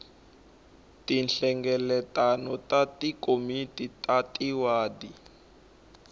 tinhlengeletano ta tikomiti ta tiwadi